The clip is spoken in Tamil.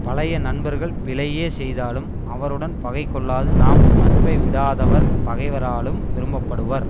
பழைய நண்பர்கள் பிழையே செய்தாலும் அவருடன் பகை கொள்ளாது நாம் நட்பை விடாதவர் பகைவராலும் விரும்ப படுவர்